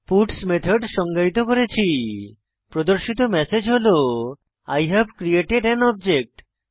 puts method সংজ্ঞায়িত করেছি প্রদর্শিত ম্যাসেজ হল I have created an object